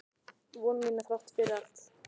Vekja von mína þrátt fyrir allt.